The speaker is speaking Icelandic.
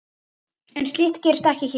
En slíkt gerist ekki hér.